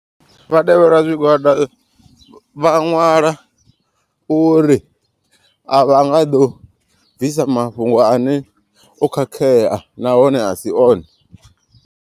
Vhatevhela zwigwada vha nwala uri a vha nga ḓo bvisa mafhungo ane o khakhea nahone asi one.